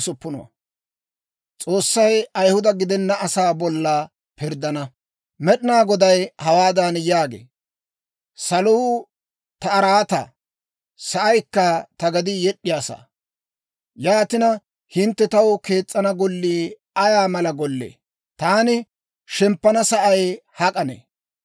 Med'inaa Goday hawaadan yaagee; «Saluu ta araataa; sa'aykka ta gedii yed'd'iyaa saa. Yaatina hintte taw kees's'ana gollii ay mala gollee? Taani shemppana sa'ay hak'anne?